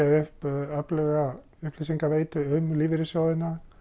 upp öfluga upplýsingaveitu um lífeyrissjóðina